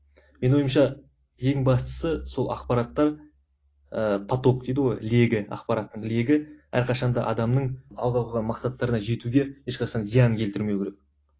менің ойымша ең бастысы сол ақпараттар ыыы поток дейді ғой легі ақпараттың легі әрқашан да адамның алға қойған мақсаттарына жетуге ешқашан зиянын келтірмеу керек